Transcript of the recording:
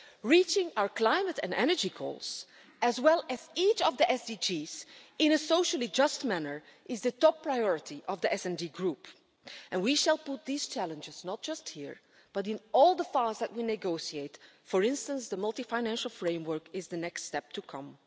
Reaching our climate and energy goals, as well as each of the SDGs, in a socially just manner, is the top priority of the SD Group, and we shall put these challenges not just here, but in all the files that we negotiate for instance, the Multiannual Financial Framework is the next step to come.